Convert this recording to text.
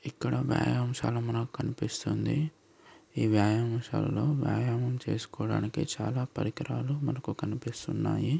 ఇక్కడ వ్యాయామశాల మనకు కనిపిస్తుంది ఈ వ్యాయామశాలలో వ్యాయామం చేసుకోవడానికి చాలా పరికరాలు మనకు కనిపిస్తున్నాయి.